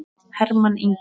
Hermann Ingi.